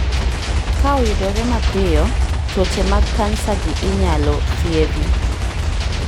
Ka oyudre mapiyo, tuoche mag kansa gi inaylo thiethi